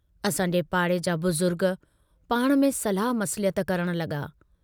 असांजे पाड़े जा बुज़ुर्ग पाण में सलाह मसलियत करण लगा।